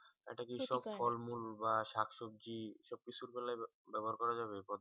একটা কিছু ফল মূল বা শাক সবজি এইসব গুলাই ব্যবহার করা যাবে